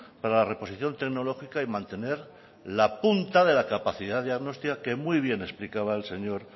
para la reposición tecnológica y mantener la punta de la capacidad diagnóstica que muy bien explicaba el señor